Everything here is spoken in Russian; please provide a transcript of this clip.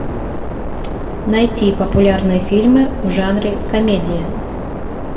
найти популярные фильмы в жанре комедия